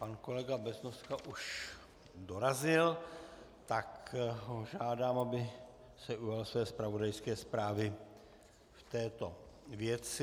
Pan kolega Beznoska už dorazil, tak ho žádám, aby se ujal své zpravodajské zprávy v této věci.